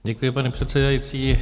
Děkuji, paní předsedající.